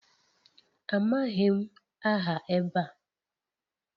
Amaghị m aha ebe a